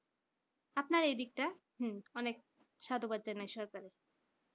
আপনার এদিকটা অনেক সাধুবাদ জানাই সরকারকে